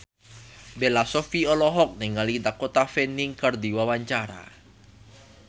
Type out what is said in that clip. Bella Shofie olohok ningali Dakota Fanning keur diwawancara